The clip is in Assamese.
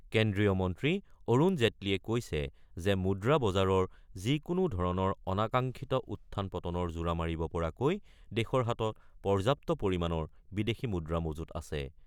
কেন্দ্ৰীয় মন্ত্ৰী অৰুণ জেটলীয়ে কৈছে যে মুদ্ৰা বজাৰৰ যিকোনো ধৰণৰ অনাকাংশিত উত্থান পতনৰ জোৰা মাৰিব পৰাকৈ দেশৰ হাতত পৰ্যাপ্ত পৰিমাণৰ বিদেশী মুদ্ৰা মজুত আছে।